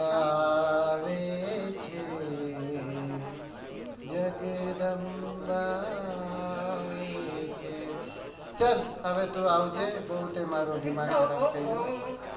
આવે છે જગદંબા આવે છે ચાલ હવે આવજે તે બો મારુ દિમા ખરાબ કર્યું.